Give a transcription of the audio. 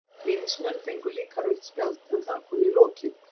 Víðismenn fengu líka rautt spjald, en það kom í lokin.